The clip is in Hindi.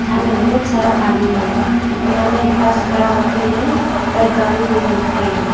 में बहुत सारा पानी है और यहाँ मे एक बस खड़ा होके है और गाड़ी भी डूब के हैं।